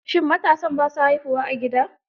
Shi matansa ba sa haihuwa a gida.